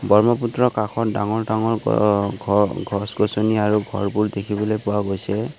ব্ৰহ্মপুত্ৰৰ কাষত ডাঙৰ-ডাঙৰ অ গছ-গছনি আৰু ঘৰবোৰ দেখিবলৈ পোৱা গৈছে।